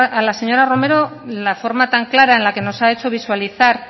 a la señora romero la forma tan clara en la que nos ha hecho visualizar